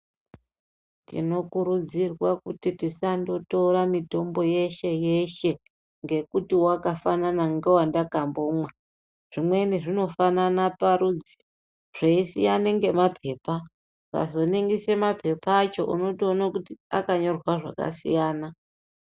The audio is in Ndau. Tinokurudzirwa kuti tisandotora mitombo yeshe yeshe ngekuti wakafanana ngewandakambomwa zvimweni zvinofanana parudzi zveisiyane ngemapepa Ukazoningise mapepa acho unotoone kuti akanyorwa zvakasiyana.